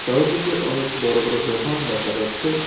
চারিদিকে অনেক বড় বড় দোকান দেখা যাচ্ছে।